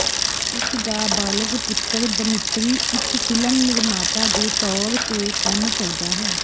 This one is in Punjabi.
ਉਸ ਦਾ ਬਾਲਗ ਪੁੱਤਰ ਦਮਿੱਤਰੀ ਇੱਕ ਫਿਲਮ ਨਿਰਮਾਤਾ ਦੇ ਤੌਰ ਤੇ ਕੰਮ ਕਰਦਾ ਹੈ